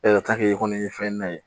i kɔni ye fɛn na ye